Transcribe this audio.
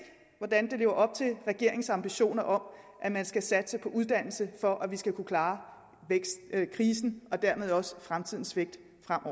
hvordan det lever op til regeringens ambitioner om at man skal satse på uddannelse for at vi skal kunne klare krisen og dermed også fremtidens vækst